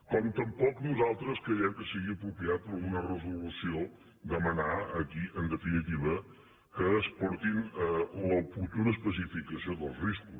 com tampoc nosaltres creiem que sigui apropiat en una resolució demanar aquí en definitiva que es porti l’oportuna especificació dels riscos